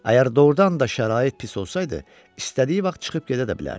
Əgər doğrudan da şərait pis olsaydı, istədiyi vaxt çıxıb gedə də bilərdi.